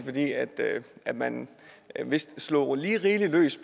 at man vist slog lige rigeligt løs